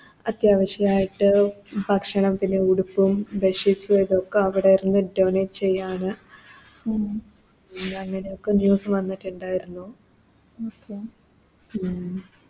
അത്യാവശ്യയിട്ട് ഭക്ഷണം പിന്നെ ഉടുപ്പും ഒക്കെ അവിടെ Donate ചെയ്യാണ് പിന്നെ അങ്ങനെയൊക്കെ News വന്നിട്ടുണ്ടാരുന്നു ഉം